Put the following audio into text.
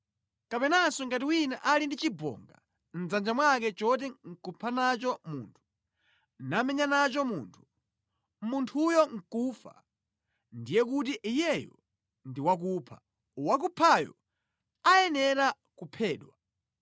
Kapenanso ngati wina ali ndi chibonga mʼdzanja mwake choti nʼkupha nacho munthu, namenya nacho munthu, munthuyo nʼkufa, ndiye kuti iyeyo ndi wakupha, wakuphayo ayenera kuphedwa.